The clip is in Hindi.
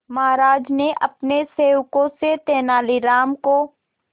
महाराज ने अपने सेवकों से तेनालीराम को